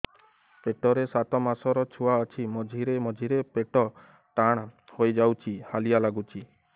ପେଟ ରେ ସାତମାସର ଛୁଆ ଅଛି ମଝିରେ ମଝିରେ ପେଟ ଟାଣ ହେଇଯାଉଚି ହାଲିଆ ଲାଗୁଚି